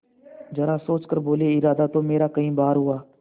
जरा सोच कर बोलेइरादा तो मेरा कई बार हुआ